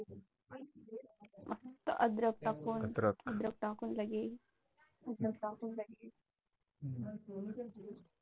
मस्त अद्रक टाकून अद्रक टाकून जागी